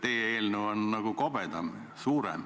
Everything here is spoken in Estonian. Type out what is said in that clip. Teie eelnõu on nagu kobedam, pikem.